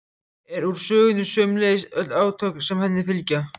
er úr sögunni, sömuleiðis öll átök sem henni fylgja.